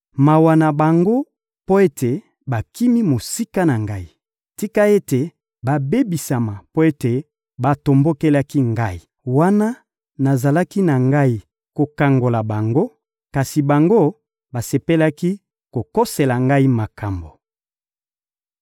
Mawa na bango mpo ete bakimi mosika na Ngai! Tika ete babebisama mpo ete batombokeli Ngai! Wana nazalaki na Ngai kokangola bango, kasi bango, basepelaki kokosela Ngai makambo!